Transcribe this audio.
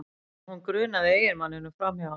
En hún grunaði eiginmanninn um framhjáhald